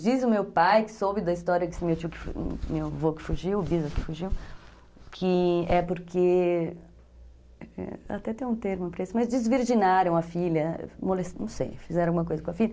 Diz o meu pai que soube da história, meu avô que fugiu, o Bisa que fugiu, que é porque, até tem um termo para isso, mas desvirginaram a filha, não sei, fizeram alguma coisa com a filha.